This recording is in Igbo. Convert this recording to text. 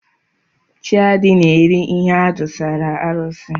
Chiadi na-eri ihe adụsara arụsị.